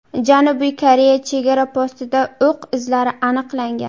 Janubiy Koreya chegara postida o‘q izlari aniqlangan.